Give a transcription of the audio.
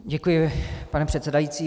Děkuji, pane předsedající.